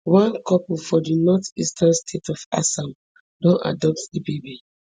one couple for di northeastern state of assam don adopt di baby